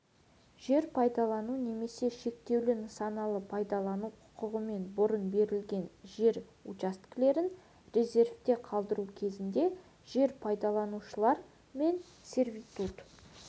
жер пайдалану немесе шектеулі нысаналы пайдалану құқығымен бұрын берілген жер учаскелерін резервте қалдыру кезінде жер пайдаланушылар мен сервитут